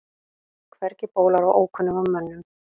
Hvergi bólar á ókunnugum mönnum.